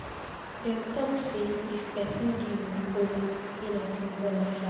Dem talk sey if pesin give you kola sey na symbol of life.